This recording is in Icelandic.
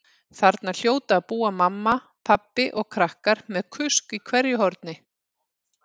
Þarna hljóta að búa mamma, pabbi og krakkar með kusk í hverju horni.